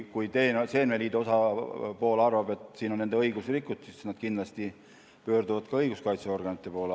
Kui seemneliidu osapool arvab, et siin on nende õigusi rikutud, siis nad kindlasti pöörduvad ka õiguskaitseorganite poole.